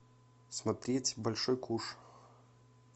смотреть большой куш